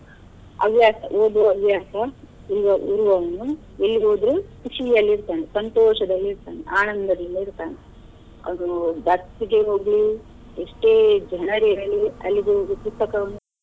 ಹವ್ಯಾಸ ಓದುವ ಹವ್ಯಾಸ ಇರುವವರು ಇರುವವರನ್ನು ಇಲ್ಲಿ ಹೋದ್ರೆ ಖುಷಿಯಲ್ಲಿ ಇರ್ತಾನೆ, ಸಂತೋಷದಲ್ಲಿ ಇರ್ತಾನೆ, ಆನಂದದಿಂದ ಇರ್ತಾನೆ ಅದು ಗೆ ಹೋಗ್ಲಿ ಎಷ್ಟೇ ಜನ ಇರಲಿ ಅಲ್ಲಿ ಹೋಗಿ ಪುಸ್ತಕವನ್ನು.